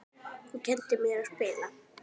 Þú kenndir mér að spila.